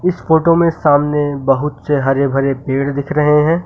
इस फोटो में सामने बहुत से हरे भरे पेड़ दिख रहे हैं।